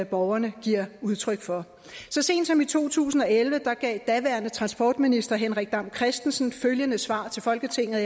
borgerne giver udtryk for så sent som i to tusind og elleve gav daværende transportminister henrik dam kristensen følgende svar til folketinget